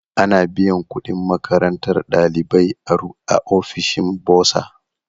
Ana biyan kudin makarantar ɗalibai a ofishin bursar.